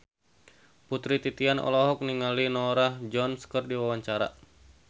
Putri Titian olohok ningali Norah Jones keur diwawancara